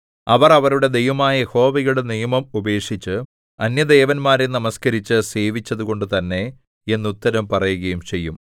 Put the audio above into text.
അവർ അവരുടെ ദൈവമായ യഹോവയുടെ നിയമം ഉപേക്ഷിച്ച് അന്യദേവന്മാരെ നമസ്കരിച്ച് സേവിച്ചതുകൊണ്ടു തന്നെ എന്നുത്തരം പറയുകയും ചെയ്യും